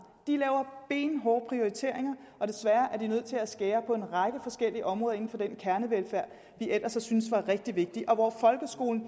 de laver benhårde prioriteringer og desværre er de nødt til at skære ned på en række forskellige områder inden for den kernevelfærd vi ellers har syntes var rigtig vigtig og folkeskolen